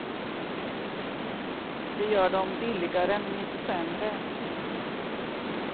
Det gör dem billigare, men inte sämre.